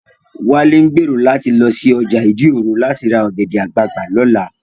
Wálé ń gbèrò láti lọ sí ọjà ìdí òro láti ra ọ̀gẹ̀dẹ̀ àgbagbà lọ́la